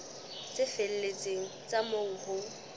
tse felletseng tsa moo ho